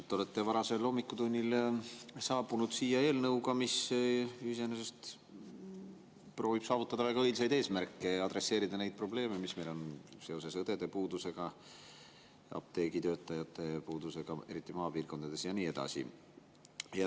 Te olete varasel hommikutunnil saabunud siia eelnõuga, mis iseenesest proovib saavutada väga õilsaid eesmärke ja adresseerida neid probleeme, mis meil on seoses õdede ja apteegitöötajate puudusega, eriti maapiirkondades, ja nii edasi.